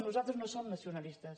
nosaltres no som nacionalistes